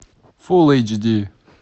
фулл эйч ди